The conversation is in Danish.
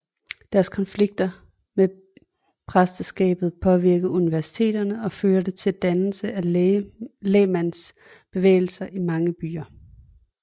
Deres konflikter med præsteskabet påvirkede universiteterne og førte til dannelse af lægmandsbevægelser i mange byer